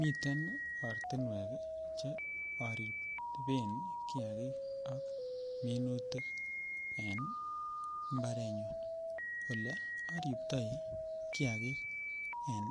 Miten ortinwek che oriben kiakik ak minutik en mbarenyun olee oribtoi kiakik en